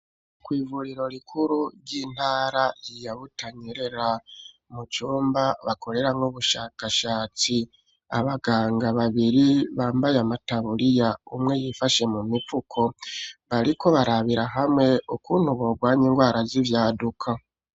Kw'ivuriro rikuru ry'intara ya Butanyerera mu cumba bakorera nk'ubushakashatsi abaganga babiri bambaye amatabuliya umwe yifashe mu mipfuko bariko barabira hamwe ukuntu borwanya indwara z'ivyaduka.